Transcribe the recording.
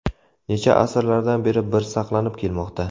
Necha asrlardan beri bir saqlanib kelmoqda.